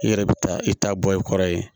I yɛrɛ bɛ taa i ta bɔ i kɔrɔ yen